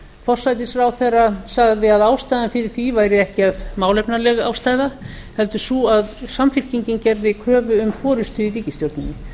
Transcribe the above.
forsætisráðherra sagði að ástæðan fyrir því væri ekki málefnaleg ástæða heldur sú að samfylkingin gerði kröfu um forustu í ríkisstjórninni ég